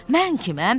Mən kiməm?